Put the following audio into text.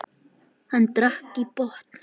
Hann drakk í botn.